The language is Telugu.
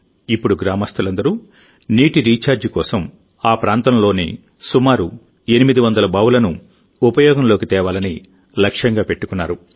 ఇప్పుడు గ్రామస్తులందరూ నీటి రీఛార్జ్ కోసం ఆ ప్రాంతంలోని సుమారు 800 బావులను ఉపయోగం లోకి తేవాలని లక్ష్యంగా పెట్టుకున్నారు